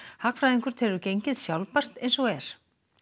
hagfræðingur telur gengið sjálfbært eins og er